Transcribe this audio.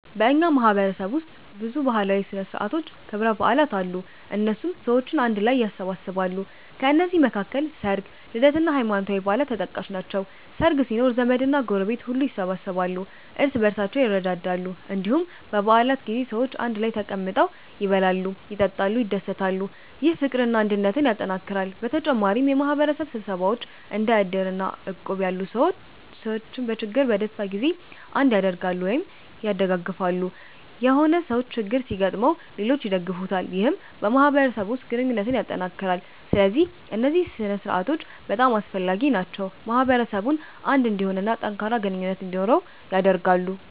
በእኛ ማህበረሰብ ውስጥ ብዙ ባህላዊ ሥነ ሥርዓቶችና ክብረ በዓላት አሉ፣ እነሱም ሰዎችን አንድ ላይ ያሰባስባሉ። ከነዚህ መካከል ሰርግ፣ ልደት እና ሃይማኖታዊ በዓላት ተጠቃሽ ናቸው። ሰርግ ሲኖር ዘመድና ጎረቤት ሁሉ ይሰበሰባሉ፣ እርስ በርሳቸውም ይረዳዳሉ። እንዲሁም በ በዓላት ጊዜ ሰዎች አንድ ላይ ተቀምጠው ይበላሉ፣ ይጠጣሉ፣ ይደሰታሉ። ይህ ፍቅርና አንድነትን ያጠናክራል። በተጨማሪም የማህበረሰብ ስብሰባዎች እንደ እድር እና እቁብ ያሉ ሰዎችን በችግርና በደስታ ጊዜ አንድ ያደርጋሉ(ያደጋግፋሉ)።የሆነ ሰው ችግር ሲገጥመው ሌሎች ይደግፉታል ይህም በማህበረሰቡ ውስጥ ግንኙነትን ያጠናክራል። ስለዚህ እነዚህ ሥነ ሥርዓቶች በጣም አስፈላጊ ናቸው፣ ማህበረሰቡን አንድ እንዲሆን እና ጠንካራ ግንኙነት እንዲኖረው ያደርጋሉ።